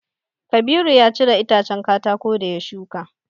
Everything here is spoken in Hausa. Kabiru ya cire itacen katako da ya shuka.